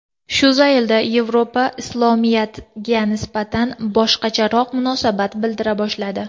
Shu zaylda Yevropa Islomiyatga nisbatan boshqacharoq munosabat bildira boshladi.